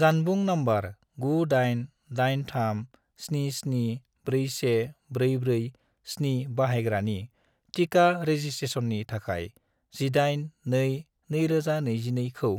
जानबुं नम्बर 98837741447 बाहायग्रानि टिका रेजिसट्रेसननि थाखाय 18-2-2022 खौ